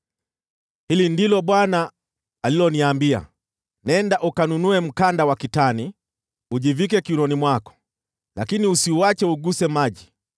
Hili ndilo Bwana aliloniambia: “Nenda ununue mkanda wa kitani, ujivike kiunoni mwako, lakini usiuache uguse maji.”